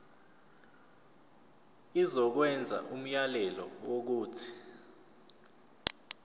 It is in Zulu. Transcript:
izokwenza umyalelo wokuthi